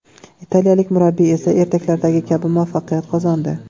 Italiyalik murabbiy esa ertaklardagi kabi muvaffaqiyat qozondi.